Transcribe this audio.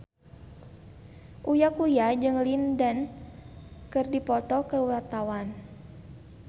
Uya Kuya jeung Lin Dan keur dipoto ku wartawan